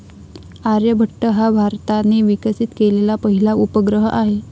आर्यभट्ट हा भारताने विकसित केलेला पहिला उपग्रह आहे.